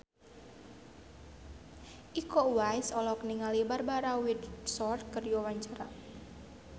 Iko Uwais olohok ningali Barbara Windsor keur diwawancara